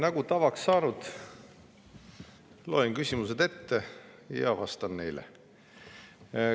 Nagu tavaks saanud, loen küsimused ette ja siis vastan neile.